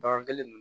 Bagan kelen